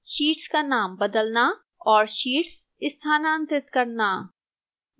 sheets का नाम बदलना और sheets स्थानांतरित करना